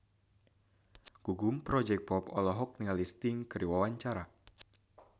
Gugum Project Pop olohok ningali Sting keur diwawancara